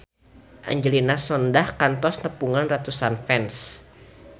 Angelina Sondakh kantos nepungan ratusan fans